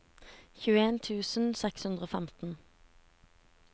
tjueen tusen seks hundre og femten